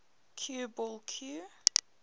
cue ball cue